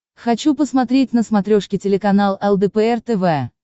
хочу посмотреть на смотрешке телеканал лдпр тв